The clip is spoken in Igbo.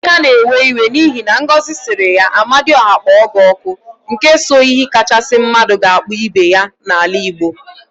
Emeka na-ewe iwe n'ihi na Ngozi siri ya "amadiọha kpọọ gị ọkụ," n ke so iyi kachasị mmadụ ga-akpọ ibe ya n'ala Igbo.